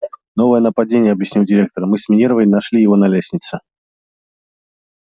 новое нападение объяснил директор мы с минервой нашли его на лестнице